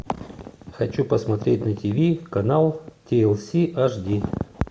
хочу посмотреть на ти ви канал ти эл си аш ди